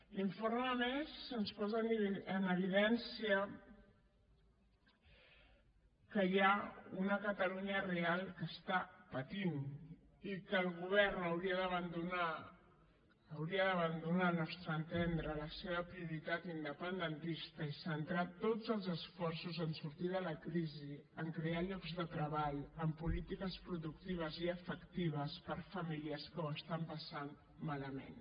l’informe a més ens posa en evidència que hi ha una catalunya real que pateix i que el govern hauria d’abandonar al nostre entendre la seva prioritat independentista i centrar tots els esforços en sortir de la crisi en crear llocs de treball en polítiques productives i efectives per a famílies que ho passen malament